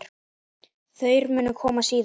Þær munu koma síðar.